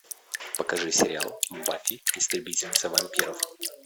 покажи сериал баффи истребительница вампиров